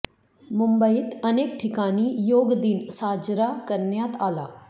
मुंबईत अनेक ठिकाणी योग दिन साजरा करण्यात आला